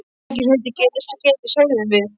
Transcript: Ekki svo heitið geti, sögðum við.